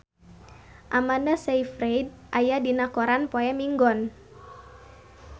Amanda Sayfried aya dina koran poe Minggon